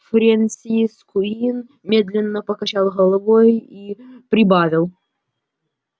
фрэнсис куинн медленно покачал головой и прибавил